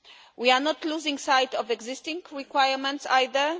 We are not losing sight of existing requirements either.